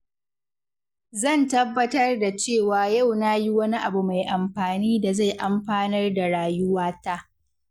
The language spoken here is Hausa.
Zan tabbatar da cewa yau na yi wani abu mai amfani da zai amfanar da rayuwata.